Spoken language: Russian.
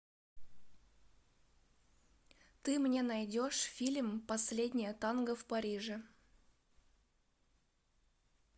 ты мне найдешь фильм последнее танго в париже